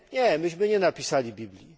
Nie, myśmy nie napisali Biblii.